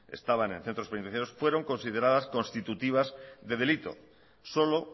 estaban en centros penitenciarios fueron consideradas constitutivas de delito solo